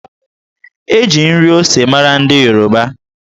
E ji nri ose mara ndị Yoruba